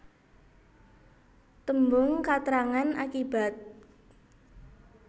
Tembung katrangan akibat